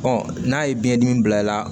n'a ye biyɛn dimi bila i la